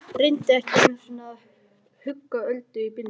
Reyndi ekki einu sinni að hugga Öldu í bílnum.